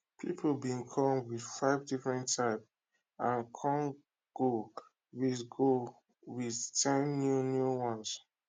people bin come with five different type and com go with go with ten new new ones